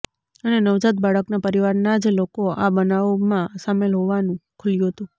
અને નવજાત બાળકના પરિવારના જ લોકો આ બનાવમાં સામેલ હોવાનું ખુલ્યું હતુ